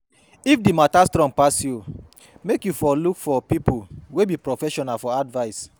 If di mata strong pass yu, mek yu look for look for pipo wey be professional for advice